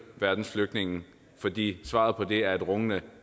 verdens flygtninge fordi svaret på det er et rungende